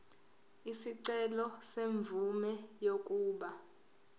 isicelo semvume yokuba